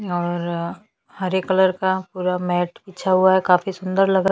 और हरे कलर का पूरा मैट बिछा हुआ है काफी सुंदर लग--